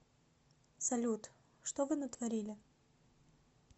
салют что вы натворили